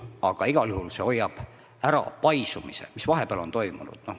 Aga igal juhul hoiab ära paisumise, mis vahepeal on toimunud.